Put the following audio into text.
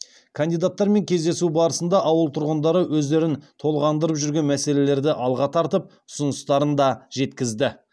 кандидатармен кездесу барысында ауыл тұрғындары өздерін толғандырып жүрген мәселелерді алға тартып ұсыныстарын да жеткізді